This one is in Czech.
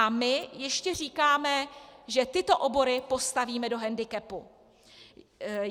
A my ještě říkáme, že tyto obory postavíme do hendikepu.